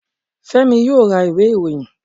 Fẹ́mi yóò ra ìwé ìròyìn